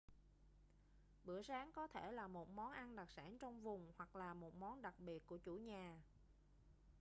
bữa sáng có thể là một món ăn đặc sản trong vùng hoặc là một món đặc biệt của chủ nhà